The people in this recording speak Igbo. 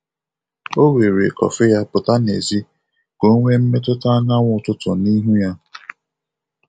O were kọfị ya pụta n'èzí ka o nwee mmetụta anyanwụ ụtụtụ n’ihu ya.